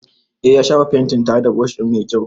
Eh, ya shafa fentin tare da brushi mai kyau.